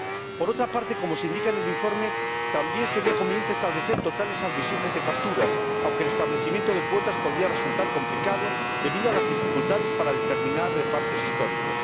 Por otra parte, como se indica en el informe, también sería conveniente establecer totales admisibles de capturas, aunque el establecimiento de cuotas podría resultar complicado debido a las dificultades para determinar repartos históricos.